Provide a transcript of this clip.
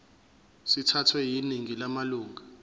sithathwe yiningi lamalunga